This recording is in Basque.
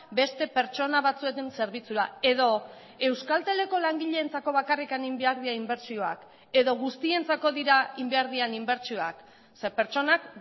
beste pertsona batzuen zerbitzura edo euskalteleko langileentzako bakarrik egin behar dira inbertsioak edo guztientzako dira egin behar diren inbertsioak ze pertsonak